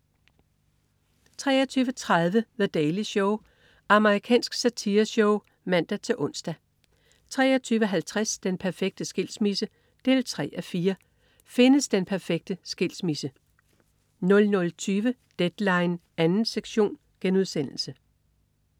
23.30 The Daily Show. Amerikansk satireshow (man-ons) 23.50 Den perfekte skilsmisse 3:4. Findes den perfekte skilsmisse? 00.20 Deadline 2. sektion*